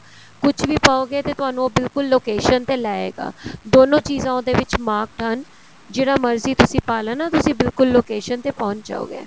ਕੁੱਝ ਵੀ ਪਾਉਗੇ ਤੇ ਤੁਹਾਨੂੰ ਉਹ ਬਿਲਕੁਲ location ਤੇ ਲੈ ਆਏਗਾ ਦੋਨੋ ਚੀਜ਼ਾ ਉਹਦੇ ਵਿੱਚ marked ਹਨ ਜਿਹੜਾ ਮਰਜੀ ਤੁਸੀਂ ਪਾ ਲੈਣਾ ਤੁਸੀਂ ਬਿਲਕੁਲ location ਤੇ ਪਹੁੰਚ ਜਾਓਗੇ